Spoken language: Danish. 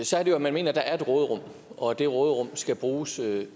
så er det jo at man mener der er et råderum og at det råderum skal bruges